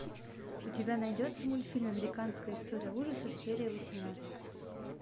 у тебя найдется мультфильм американская история ужасов серия восемнадцать